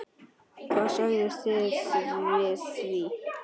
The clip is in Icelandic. Hvað segið þið við því?